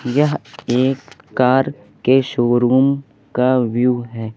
यह एक कार के शोरूम का व्यू है।